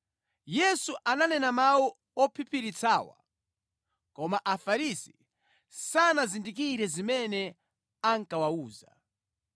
Yesu ananena mawu ophiphiritsawa, koma Afarisi sanazindikire zimene ankawawuza.